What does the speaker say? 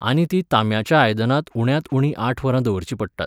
आनी तीं तांब्याच्या आयदनांत उण्यांत उणी आठ वरां दवरचीं पडटात.